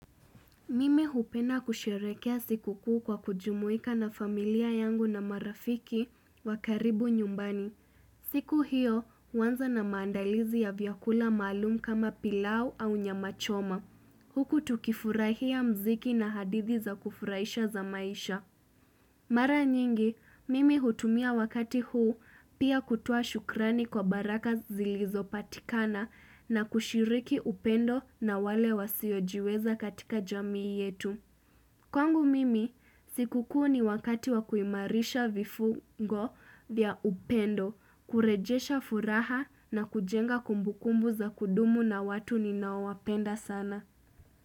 Mimi hupenda kusherehekea siku kuu kwa kujumuika na familia yangu na marafiki wa karibu nyumbani. Siku hiyo, huanza na maandalizi ya vyakula maalum kama pilau au nyama choma. Huku tukifurahia muziki na hadithi za kufurahisha za maisha. Mara nyingi, mimi hutumia wakati huu pia kutoa shukrani kwa baraka zilizopatikana na kushiriki upendo na wale wasiojiweza katika jamii yetu. Kwangu mimi, siku kuu ni wakati wa kuimarisha vifungo vya upendo, kurejesha furaha na kujenga kumbukumbu za kudumu na watu ninaowapenda sana.